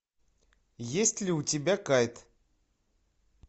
есть ли у тебя кайт